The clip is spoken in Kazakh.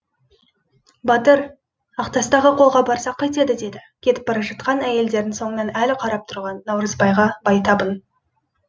батыр ақтастағы қолға барсақ қайтеді деді кетіп бара жатқан әйелдердің соңынан әлі қарап тұрған наурызбайға байтабын